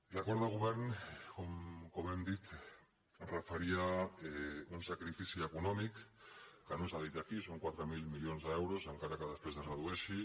l’acord de govern com hem dit referia un sacrifici econòmic que no s’ha dit aquí són quatre mil milions d’euros encara que després es redueixi